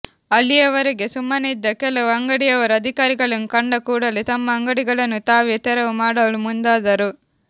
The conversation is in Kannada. ಅಲ್ಲಿಯವರೆಗೆ ಸುಮ್ಮನಿದ್ದ ಕೆಲವು ಅಂಗಡಿಯವರು ಅಧಿಕಾರಿಗಳನ್ನು ಕಂಡ ಕೂಡಲೇ ತಮ್ಮ ಅಂಗಡಿಗಳನ್ನು ತಾವೇ ತೆರವು ಮಾಡಲು ಮುಂದಾದರು